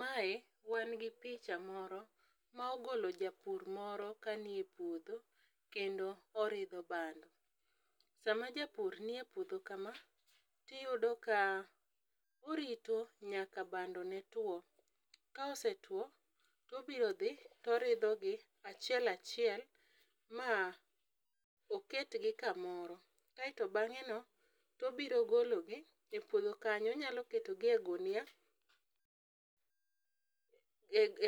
Mae wan gi picha moro ma ogolo japur moro ka ni e puodho kendo oridho bando. Sama japur nie puodho kama tiyudo ka orito nyaka bando ne two. Ka osetwo, tobiro dhi, toridho gi achiel achiel ma oket gi kamoro. Kaeto bang'e no tobiro golo gi e puodho kanyo. Onyalo keto gi e gunia.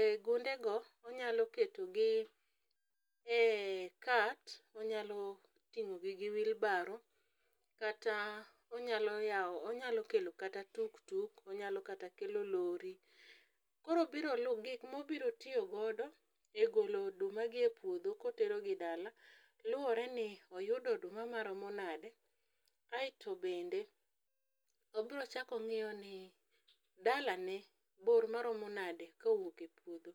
E gunde go onyalo keto gi e cart. Onyalo ting'o gi gi wheelbarrow kata onyalo yao, onyalo kelo kata tuktuk, onyalo kata kelo lori[c]s. Koro biro lu, gik mobiro tiyo godo e golo oduma gi e puodho kotero gi dala luwore ni oyudo oduma maromo nade. Aeto bende obiro chako ong'iyo ni dala ne bor maromo nade kowuok e puodho.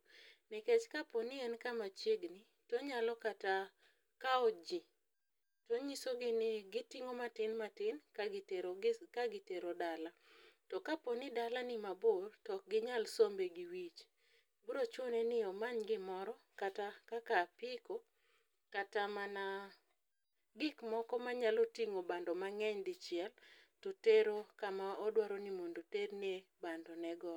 Nikech kapo ni en kama chiengni tonyalo kata kao ji, tonyiso gi ni giting'o matin matin ka gitero dala. To kapo ni dala ni mabor, tok ginyal sombe gi wich. Biro chune ni omany gimoro kata kaka apiko kata mana gik moko manyalo ting'o bando mang'eny dicheil, to tero kama odwaro ni mondo terne bando ne go.